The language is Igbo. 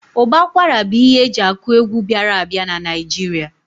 Ụbọ akwara bụ ihe eji akụ egwu bịara a bịa n'Naijiria